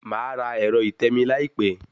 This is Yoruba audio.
Màá ra ẹ̀rọ ìtẹmií láìpẹ́